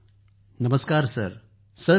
सुप्रीत जीः नमस्कार सर नमस्कार